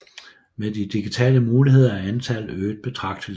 Med de digitale muligheder er antallet øget betragteligt